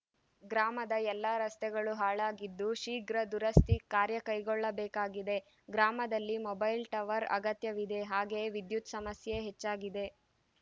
ಗ್ರಾಮದ ಎಲ್ಲ ರಸ್ತೆಗಳು ಹಾಳಾಗಿದ್ದು ಶೀಘ್ರ ದುರಸ್ತಿ ಕಾರ್ಯ ಕೈಗೊಳ್ಳ ಬೇಕಾಗಿದೆ ಗ್ರಾಮದಲ್ಲಿ ಮೊಬೈಲ್‌ ಟವರ್‌ ಅಗತ್ಯವಿದೆ ಹಾಗೇಯೇ ವಿದ್ಯುತ್‌ ಸಮಸ್ಯೆ ಹೆಚ್ಚಾಗಿದೆ